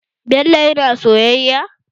Bello yana soyayya?